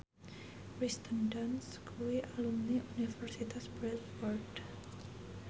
Kirsten Dunst kuwi alumni Universitas Bradford